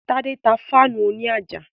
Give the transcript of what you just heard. Tádé tá fáànù òní àjà